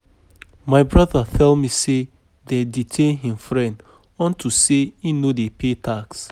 My brother tell me say dey detain um im friend unto say e no dey pay tax